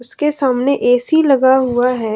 इसके सामने ऐ_सी लगा हुआ है।